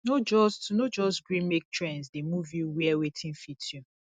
no just no just gree make trends dey move you wear wetin fit you